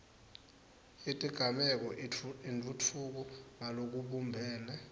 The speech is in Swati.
yetigameko itfutfuka ngalokubumbene